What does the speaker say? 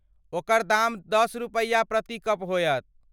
ओकर दाम दस रुपैया प्रति कप होयत।